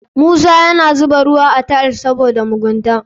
Musa yana zuba ruwa a tiles ɗin sabida mugunta.